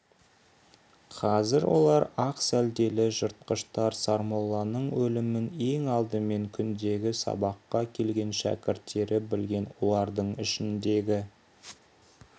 қазір олар ақ сәлделі жыртқыштар сармолланың өлімін ең алдымен күндегі сабаққа келген шәкірттері білген олардың ішіндегі